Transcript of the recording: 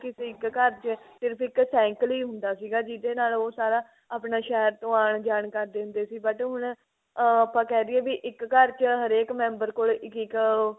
ਇੱਕ ਘਰ ਚ ਸਿਰਫ ਇੱਕ cycle ਹੀ ਹੁੰਦਾ ਸੀਗਾ ਜਿਹਦੇ ਨਾਲ ਉਹ ਸਾਰਾ ਆਪਣਾ ਸ਼ਹਿਰ ਤੋਂ ਆਣ ਜਾਣ ਕਰਦੇ ਹੁੰਦੇ ਸੀ but ਹੁਣ ah ਆਪਾ ਕਹਿਦੀਏ ਵੀ ਇੱਕ ਘਰ ਚ ਹਰੇਕ member ਕੋਲ ਇੱਕ ਇੱਕ